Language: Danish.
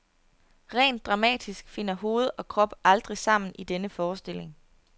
Rent dramatisk finder hoved og krop aldrig sammen i denne forestilling.